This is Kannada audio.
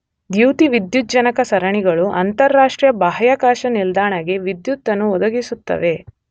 ದ್ಯುತಿವಿದ್ಯುಜ್ಜನಕ ಸರಣಿಗಳು ಅಂತರರಾಷ್ಟ್ರೀಯ ಬಾಹ್ಯಾಕಾಶ ನಿಲ್ದಾಣದ ಗೆ ವಿದ್ಯುತ್ ಅನ್ನು ಒದಗಿಸುತ್ತವೆ.